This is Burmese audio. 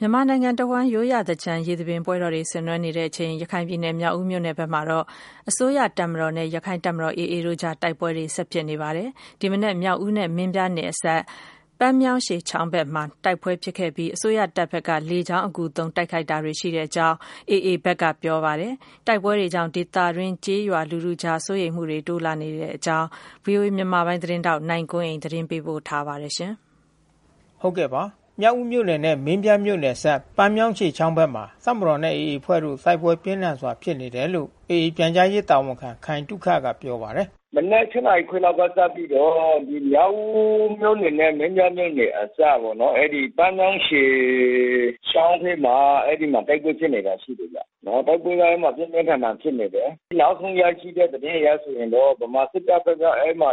မြန်မာနိုင်ငံတဝှမ်း ရိုးရာသင်္ကြန် ရေသဘင်ပွဲတော်တွေ ဆင်နွှဲနေကြတဲ့အချိန် ရခိုင်ပြည်နယ် မြောက်ဦးမြို့နယ်ဘက်မှာတော့ မြန်မာ့တပ်မတော်နဲ့ ရခိုင့်တပ်တော် AA တို့အကြား တိုက်ပွဲတွေ ဆက်လက် ဖြစ်ပွားပါတယ်။ ဒီမနက် မြောက်ဦးနဲ့ မင်းပြားနယ်အစပ် ပန်းမြောင်းရှည်ချောင်းဘက်မှာ နှစ်ဘက်တိုက် တိုက်ပွဲ ပြင်းထန်ခဲ့ပြီး တပ်မတော်ဘက်ကနေ လေကြောင်း အကူသုံး တိုက်ခိုက်တာတွေ ရှိတယ်လို့ AA တာဝန်ရှိသူက ပြောပါတယ်။ တိုက်ပွဲတွေကြောင့် ဒေသတွင်း ကျေးရွာလူထုကြား စိုးရိမ်မှုတွေ တိုးလာနေပါတယ်။ ဗွီအိုအေမြန်မာပိုင်း သတင်းထောက် နိုင်ကွန်းအိန်ကနေ သတင်းပေးပို့ထားပါတယ်။ မြောက်ဦးမြို့နယ်နဲ့ မင်းပြားမြို့နယ်အစပ် ပန်းမြောင်းရှည်ချောင်းဘက်မှာ တပ်မတော်နဲ့ AA အဖွဲ့တို့ တိုက်ပွဲပြင်းထန်စွာ ဖြစ်နေတယ်လို့ AA ပြန်ကြားရေး တာဝန်ခံ ခိုင်သုခကပြောပါတယ်။ “မနက် (၈) နာရီခွဲကစပြီးတော့ မြောက်ဦးမြို့နယ်နဲ့ မင်းပြားမြို့နယ် အစပ်ပေါ့နော်။ အဲဒီ ပန်းမြောင်းရှည်ချောင်းထဲမှာ အဲဒီမှာတိုက်ပွဲ ဖြစ်နေတာ ရှိတယ်ဗျ။ တိုက်ပွဲက အဲဒီမှာ ပြင်းပြင်းထန်ထန် ဖြစ်နေတယ်။ နောက်ဆုံးရရှိတဲ့ သတင်းအရဆိုရင်တော့ ဗမာစစ်တပ်ဘက်က အဲဒီမှာ (